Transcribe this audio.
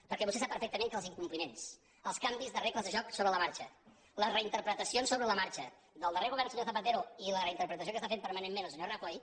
perquè vostè sap perfectament que els incompliments els canvis de regles de joc sobre la marxa les reinterpretacions sobre la marxa del darrer govern del senyor zapatero i la reinterpretació que està fent permanentment el senyor rajoy